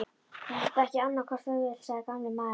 Þú átt ekki annarra kosta völ sagði gamli maðurinn.